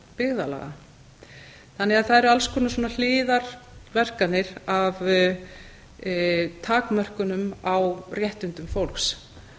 byggðarlaga það eru því alls konar svona hliðarverkanir af takmörkunum á réttindum fólks